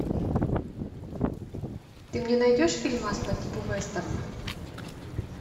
ты мне найдешь фильмас по типу вестерна